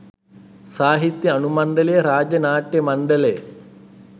සාහිත්‍ය අනුමණ්ඩලය රාජ්‍ය නාට්‍ය මණ්ඩලය